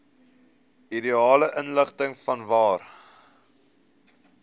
ideale ligging vanwaar